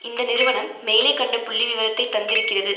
இந்த நிறுவனம் மேலே கண்ட புள்ளி விவரத்தை தந்திருக்கிறது